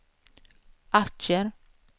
aktier